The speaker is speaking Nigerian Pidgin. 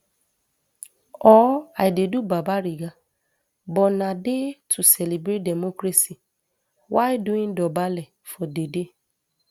or i dey do babariga but na day to celebrate democracy while doing dobale for di day